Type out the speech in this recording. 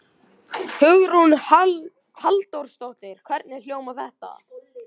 Hugrún Halldórsdóttir: Hvernig hljómar þetta?